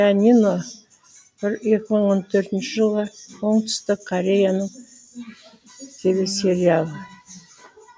пианино екі мың он төртінші жылғы оңтүстік кореяның телесериал